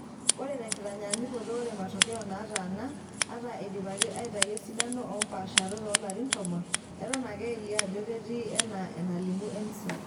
Ore tenkitanyaanyukoto, ore matokeo naataana, ata eidipaki aitayiu esidano oompaasharot oolarintomon, eton ake elio ajo ketii enaa enalimu ENSO.[long sentence]